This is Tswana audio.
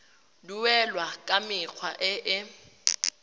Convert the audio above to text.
duelwa ka mekgwa e e